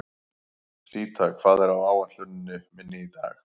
Síta, hvað er á áætluninni minni í dag?